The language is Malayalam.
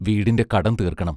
വീടിന്റെ കടം തീർക്കണം.